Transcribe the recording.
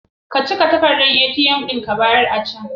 Ka ciga takardan ATM ɗin ka bayar a can.